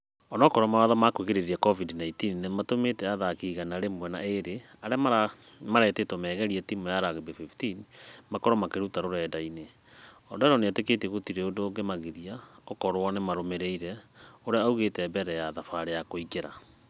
Onũkorwo mawatho ma kũgirereria covid-19 nĩtũmĩte athaki igana rĩmwe na ĩrĩ arĩa marĩtetwo maigerĩ timũ ya rugby 15s makorwo makĩruta rũrenda-inĩ . Odero nĩetekĩtie gũtire ũndũ ungemagiria ũkorwo nũmarũmĩrire .....ũrĩa aigĩte mbere ya thabarĩ ya kũingĩra.